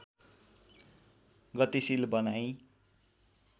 गतिशिल बनाई